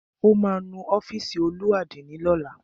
Ó ma nu ọ́fìsì olú àdínì lọ́la.